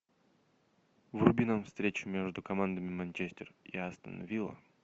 вруби нам встречу между командами манчестер и астон вилла